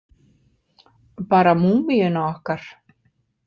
Bara múmíuna okkar.